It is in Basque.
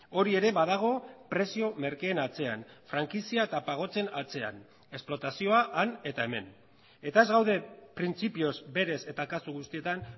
hori ere badago prezio merkeen atzean frankizia eta pagotzen atzean esplotazioa han eta hemen eta ez gaude printzipioz berez eta kasu guztietan